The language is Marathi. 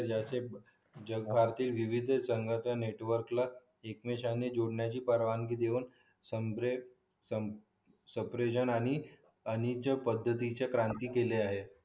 आर्थिक संघाचा नेटवर्कला एकमेकांना जोडण्याची परवानगी देऊन म्हणजे सेपरेशन आणि वाणिज्य पद्धतीची क्रांती केली आहे